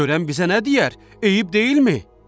Görən bizə nə deyər, eyib deyilmi?